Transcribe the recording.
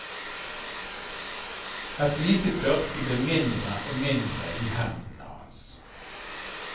Et lite tørkle blir mindre og mindre i hendene hans.